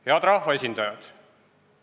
Head rahvaesindajad!